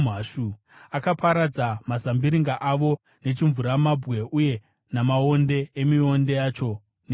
Akaparadza mazambiringa avo nechimvuramabwe, uye namaonde emionde yavo nechando.